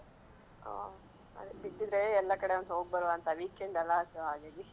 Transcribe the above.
ಹಾ ಆದ್ರೆ ಬಿಟ್ಟಿದ್ರೆ ಎಲ್ಲಾ ಕಡೆಯೊಂದು ಹೋಗ್ಬರುವಾ ಅಂತ weekend ಅಲಾ so ಹಾಗಾಗಿ